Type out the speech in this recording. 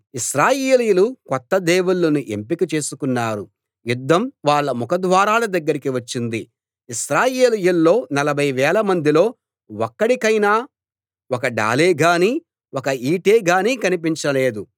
ఇశ్రాయేలీయులు కొత్త దేవుళ్ళను ఎంపిక చేసుకున్నారు యుద్ధం వాళ్ళ ముఖ ద్వారాల దగ్గరికి వచ్చింది ఇశ్రాయేలీయుల్లో నలభై వేలమందిలో ఒక్కడికైనా ఒక డాలే గానీ ఒక ఈటె గానీ కనిపించలేదు